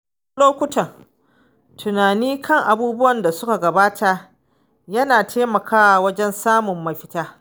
A wasu lokuta, tunani kan abubuwan da suka gabata yana taimakawa wajen samun mafita.